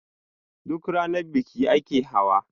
duk Rana biki ake hawa?